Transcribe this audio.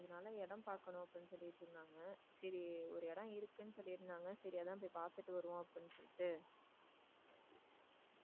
சரி ஒரு இடம் இருக்குன்னு சொல்லி இருந்தாங்க அதான் போய் பார்த்துட்டு வருவோம் அப்படின்னு சொல்லிட்டு.